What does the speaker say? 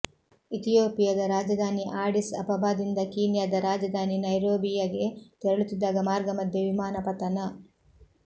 ಇಥಿಯೋಪಿಯದ ರಾಜಧಾನಿ ಆಡಿಸ್ ಅಬಬಾದಿಂದ ಕೀನ್ಯಾದ ರಾಜಧಾನಿ ನೈರೋಬಿಯಗೆ ತೆರಳುತ್ತಿದ್ದಾಗ ಮಾರ್ಗ ಮಧ್ಯೆ ವಿಮಾನ ಪತನ